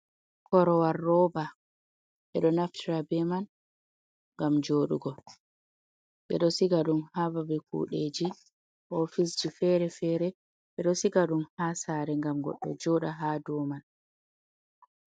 Korowal rooba, e ɗo naftira be man ngam jooɗugo, ɓe ɗo siga ɗum haa babe kuɗeji, ofisji fere-fere, ɓe ɗo siga ɗum haa saare ngam goɗɗo jooɗa haa ɗo man.